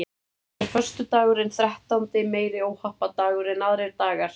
Er föstudagurinn þrettándi meiri óhappadagur en aðrir dagar?